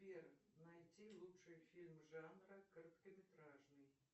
сбер найти лучший фильм жанра короткометражный